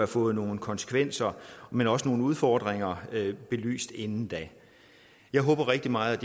fået nogle konsekvenser men også nogle udfordringer belyst inden da jeg håber rigtig meget